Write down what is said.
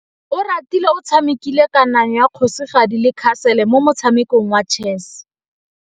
Oratile o tshamekile kananyô ya kgosigadi le khasêlê mo motshamekong wa chess.